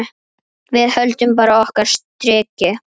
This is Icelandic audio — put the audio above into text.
Við höldum bara okkar striki.